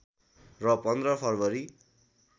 र १५ फरवरी